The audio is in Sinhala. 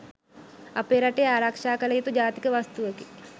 අපේ රටේ ආරක්‍ෂා කළ යුතු ජාතික වස්තුවකි.